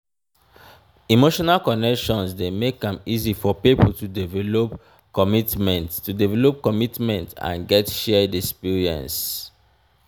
emotional connection de make am easy for pipo to develop commitment to develop commitment and get shared experience